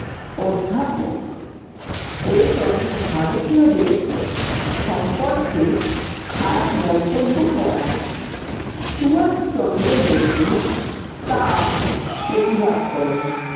অধ্যাপক ওয়েটন ভারতীয়দের সম্পর্কে খারাপ মন্তব্য করায় সুভাষচন্দ্র বসু তার প্রতিবাদ করেন।